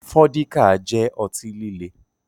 Fọ́díkà jẹ́ ọtí líle